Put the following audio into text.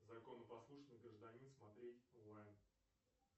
законопослушный гражданин смотреть онлайн